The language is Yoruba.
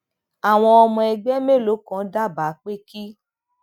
àwọn ọmọ ẹgbẹ mélòó kan dábàá pé kí